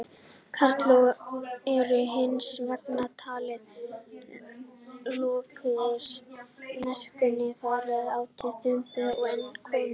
Karlar eru hins vegar taldir lokaðri- í merkingunni fálátur eða þumbaralegur- en konur.